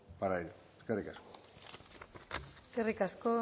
para ello eskerrik asko eskerrik asko